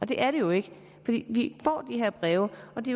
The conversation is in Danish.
det er det jo ikke vi får de her breve og det